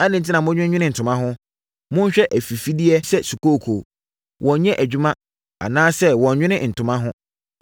“Adɛn enti na modwennwene ntoma ho? Monhwɛ afifideɛ bi sɛ sukooko. Wɔnnyɛ adwuma, anaasɛ wɔnwene ntoma ho.